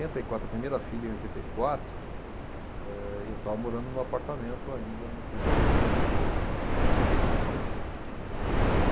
e quatro, a primeira filha em oitenta e quatro. Eh e eu estava morando no apartamento ainda, no primeiro apartamento que eu, âh, que eu tinha.